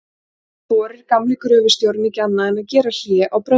Þá þorir gamli gröfustjórinn ekki annað en að gera hlé á bröndurunum.